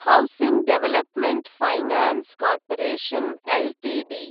housing development finance corporation Ltd